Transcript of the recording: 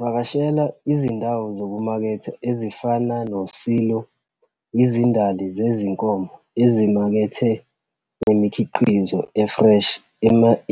Vakashela izindawo zokumaketha ezifana no-silo, izindali zezinkomo, ezimakethe zemikhiqizo e-fresh,